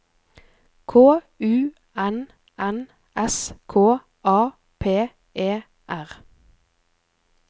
K U N N S K A P E R